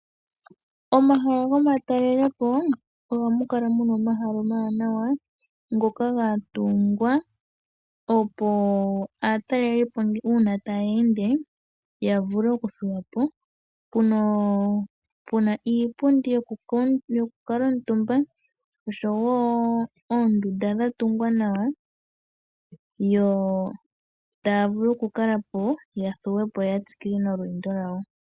Omahala go ma talelepo, oha mu kala muna omahala omawanawa ngoka gatungwa, opo aatalelipo ngele ta ya ende, yavule okuthuwapo. Opuna iipundi yo ku kaantumba osho woo oondunda dhatungwa nawa, yo ta ya vulu okuthuwapo opo ya tsikile nolweendo lwawo.